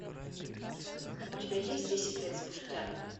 у тебя есть десять лет спустя